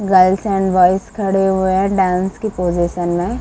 Girls and boys खड़े हुए हैं डांस की पोजिशन में।